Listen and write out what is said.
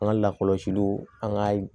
An ka lakɔlɔsiliw an ka